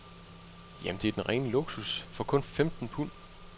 Jamen, det er den rene luksus, for kun femten pund.